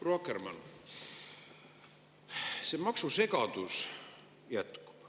Proua Akkermann, see maksusegadus jätkub.